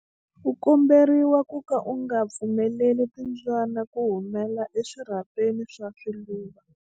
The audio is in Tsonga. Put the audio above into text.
U komberiwa ku ka u nga pfumeleli timbyana ku humela eswirhapeni swa swiluva.